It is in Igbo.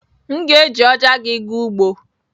M ga-eji ọja gị gaa ugbo.